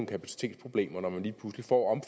kapacitetsproblemer når man lige pludselig får